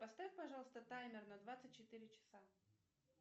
поставь пожалуйста таймер на двадцать четыре часа